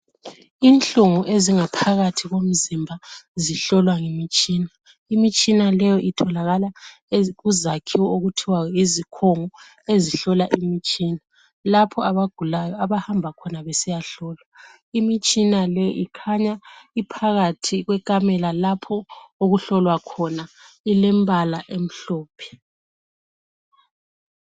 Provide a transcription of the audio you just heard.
Inhlungu ezingaphakathi komzimba zihlolwa ngemitshina. Imitshina le itholakala kuzakhiwo ezithiwa yizikhungo ezihlola imitshina lapho abagulayo abahamba khona besiyahlolwa. Imitshina le ikhanya iphakathi kwendlu okuhlolwa khona ilemibala emihlophe